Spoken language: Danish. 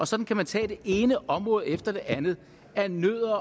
sådan kan man tage det ene område efter det andet andet